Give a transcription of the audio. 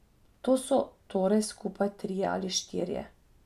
To so torej skupaj trije ali štirje.